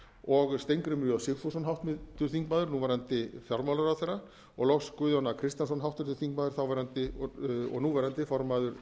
og steingrímur j sigfússon h f þingmanni núverandi hæstvirtum fjármálaráðherra og loks guðjón a kristjánsson háttvirtur þingmaður þáverandi og núverandi formaður frjálslynda